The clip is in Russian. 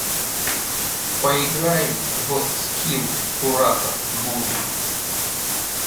поиграем в скилл куратор буду